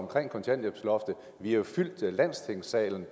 kontanthjælpsloftet vi har jo fyldt landstingssalen